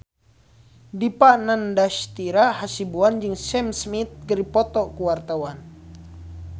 Dipa Nandastyra Hasibuan jeung Sam Smith keur dipoto ku wartawan